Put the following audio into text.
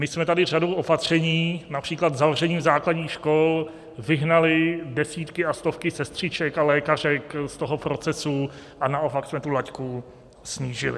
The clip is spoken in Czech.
My jsme tady řadou opatření, například zavřením základních škol, vyhnali desítky a stovky sestřiček a lékařek z toho procesu a naopak jsme tu laťku snížili.